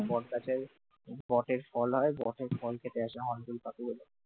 বটগাছে বটের ফল হয় বটের ফল খেতে আসে হর্ন বিল পাখিগুলো